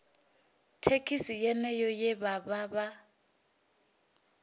thekhisi yeneyo ye vha vha